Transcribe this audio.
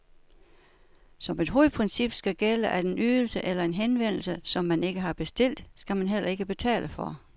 Som et hovedprincip skal gælde, at en ydelse eller en henvendelse, som man ikke har bestilt, skal man heller ikke betale for.